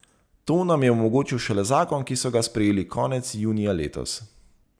To nam je omogočil šele zakon, ki so ga sprejeli konec junija letos.